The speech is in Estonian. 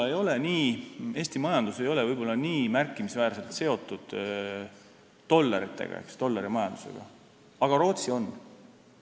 Eesti majandus ei ole võib-olla nii märkimisväärselt seotud dollarimajandusega, aga Rootsi on.